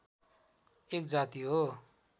एक जाति हो